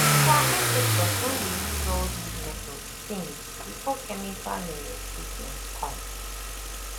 our ancestors don dey use all these methods since before chemical um treatment come